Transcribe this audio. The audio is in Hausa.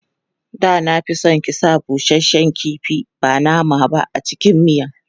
Da na fi son ki sa busasshen kifi ba nama ba a cikin miyan.